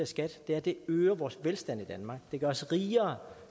skat er at det øger vores velstand i danmark det gør os rigere